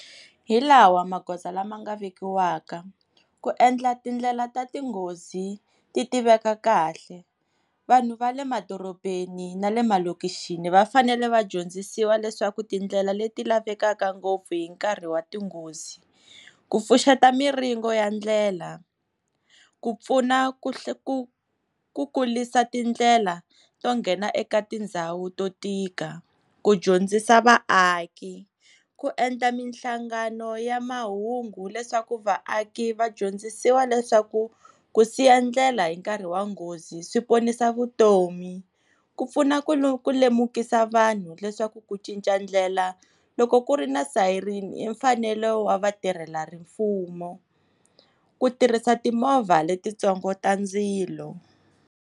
Hi lawa magoza lama nga vekiwaka ku endla tindlela ta tinghozi ti tiveka kahle, vanhu va le madorobeni na le malokishi va fanele va dyondzisiwa leswaku tindlela leti lavekaka ngopfu hi nkarhi wa tinghozi, ku pfuxeta miringo ya ndlela, ku pfuna ku ku ku kurisa tindlela to nghena eka tindhawu to tika, ku dyondzisa vaaki, ku endla mihlangano ya mahungu leswaku vaaki va dyondzisiwa leswaku ku siya ndlela hi nkarhi wa nghozi swi ponisa vutomi, ku pfuna ku lemukisa vanhu leswaku ku cinca ndlela loko ku ri na sayirini i mfanelo wa vatirhela mfumo, ku tirhisa timovha le ti ntsongo ta ndzilo.